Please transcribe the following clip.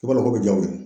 I b'a dɔn ko bɛ jaw ye